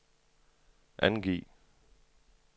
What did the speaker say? angiv